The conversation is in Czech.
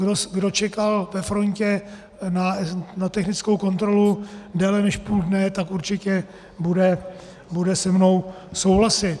Kdo čekal ve frontě na technickou kontrolu déle než půl dne, tak určitě bude se mnou souhlasit.